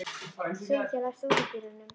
Sylgja, læstu útidyrunum.